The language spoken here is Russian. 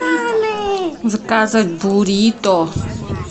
заказать бурито